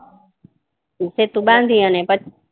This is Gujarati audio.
સેતુ બાંધી અને પછી